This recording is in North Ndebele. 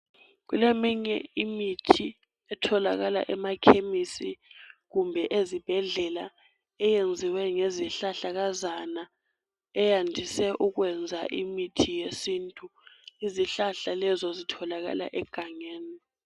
Kuleminye imithi etholakala emakemisi kumbe ezibhedlela. Eyenziwe ngezihlahlakazana. Eyandise ukwenza imithi yesintu. Izihlahla lezo zitholakala egangeni.